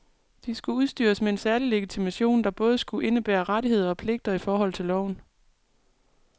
De skulle udstyres med særlig legitimation, der både skulle indebære rettigheder og pligter i forhold til loven.